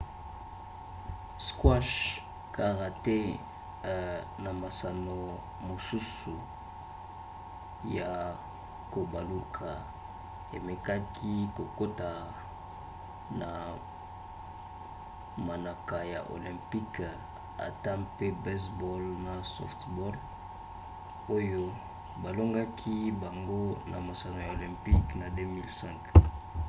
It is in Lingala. squash karaté na masano mosusu ya kobaluka emekaki kokota na manaka ya olympique ata mpe baseball na softball oyo balongolaki bango na masano ya olympique na 2005